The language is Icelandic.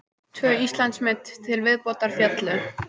Tvö Íslandsmet til viðbótar féllu